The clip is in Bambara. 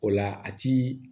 O la a ti